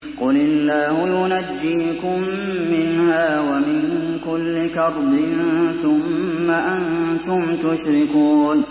قُلِ اللَّهُ يُنَجِّيكُم مِّنْهَا وَمِن كُلِّ كَرْبٍ ثُمَّ أَنتُمْ تُشْرِكُونَ